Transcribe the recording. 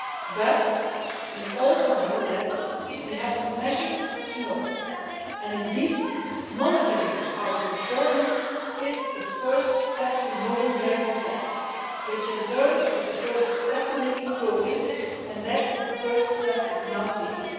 But we also know that we have to measure to know, and indeed monitoring our performance is the first step to knowing where we stand, which in turn is the first step to making progress, and that first step is now taken.